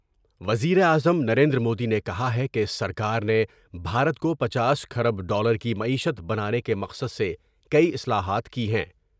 وزیراعظم نریندرمودی نے کہا ہے کہ سرکار نے بھارت کو پنچاس کھرب ڈالر کی معیشت بنانے کے مقصد سے کئی اصلاحات کی ہیں ۔